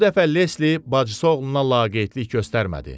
Bu dəfə Lesli bacısı oğluna laqeydlik göstərmədi.